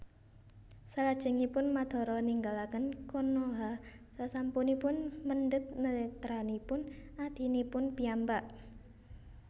Salajengipun Madara ninggalaken Konoha sasampunipun mendhet netranipun adhinipun piyambak